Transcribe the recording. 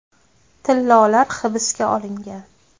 Tillolar hibsga olingan.